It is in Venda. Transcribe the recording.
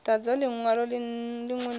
dadza linwalo linwe na linwe